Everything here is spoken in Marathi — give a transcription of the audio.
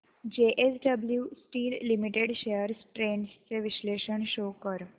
JSW steel limited shares trends चे विश्लेषण शो कर